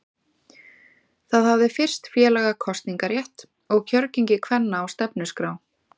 Það hafði fyrst félaga kosningarétt og kjörgengi kvenna á stefnuskrá.